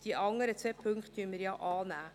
Die anderen zwei Punkte nehmen wir ja an.